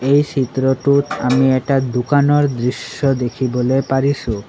এই চিত্ৰটোত আমি এটা দোকানৰ দৃশ্য দেখিবলৈ পাৰিছোঁ।